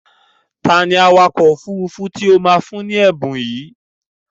Ta ni awakọ̀ òfurufú tí o máa fún ní ẹ̀bùn yìí?